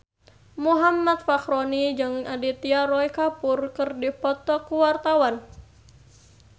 Muhammad Fachroni jeung Aditya Roy Kapoor keur dipoto ku wartawan